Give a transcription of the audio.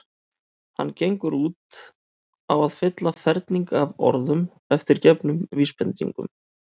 Hann gengur út á að fylla ferning af orðum eftir gefnum vísbendingum.